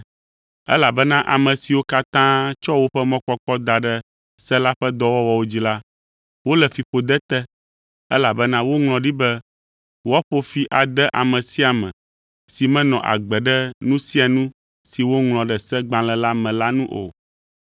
Elabena ame siwo katã tsɔ woƒe mɔkpɔkpɔ da ɖe se la ƒe dɔwɔwɔwo dzi la, wole fiƒode te, elabena woŋlɔ ɖi be, “Woaƒo fi ade ame sia ame si menɔ agbe ɖe nu sia nu si woŋlɔ ɖe Segbalẽ la me la nu o.”